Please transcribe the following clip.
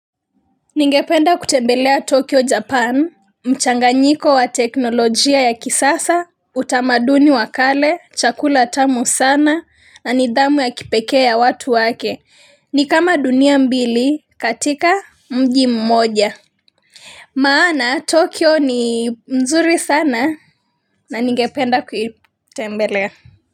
Ningependa kutembelea Tokyo Japan, mchanganyiko wa teknolojia ya kisasa, utamaduni wa kale, chakula tamu sana, na nidhamu ya kipekee ya watu wake, ni kama dunia mbili katika mji mmoja. Maana, Tokyo ni mzuri sana, na ningependa kuitembelea.